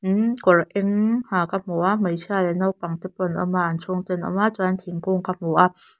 umm kawr eng ha ka hmu a hmeichhia leh naupangte pawh an awm a an chhungte an awm a chuan thingkung ka hmu a.